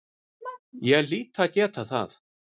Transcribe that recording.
Ég hlýt að geta það.